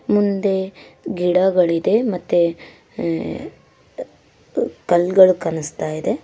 ಮುಂದೆ ಗಿಡಗುಳಿದೆ ಮತ್ತೆ ಅ -ಅ- ಕಲ್ ಗಳು ಕಾಣಿಸ್ತಾ ಇದೆ.